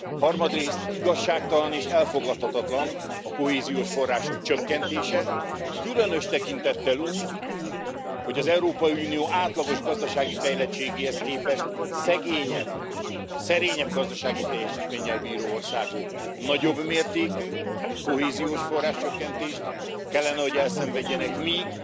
Harmadrészt, igazságtalan és elfogadhatatlan a kohéziós források csökkentése, különös tekintettel arra, hogy az Európai Unió átlagos gazdasági fejlettségéhez képest szegényebb, szerényebb gazdasági teljesítménnyel bíró országok nagyobb mértékű kohéziósforrás csökkentést kellene, hogy elszenvedjenek, míg